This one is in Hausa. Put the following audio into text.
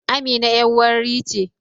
Amina yar warri ce